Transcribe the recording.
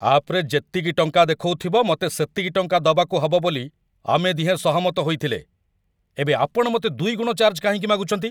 ଆପ୍‌ରେ ଯେତିକି ଟଙ୍କା ଦେଖଉଥିବ, ମତେ ସେତିକି ଟଙ୍କା ଦବାକୁ ହବ ବୋଲି ଆମେ ଦିହେଁ ସହମତ ହେଇଥିଲେ । ଏବେ ଆପଣ ମତେ ଦୁଇଗୁଣ ଚାର୍ଜ କାହିଁକି ମାଗୁଚନ୍ତି?